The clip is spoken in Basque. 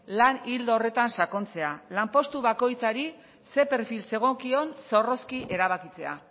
lan ildo horretan sakontzea lanpostu bakoitzari ze perfil zegokion zorrozki erabakitzea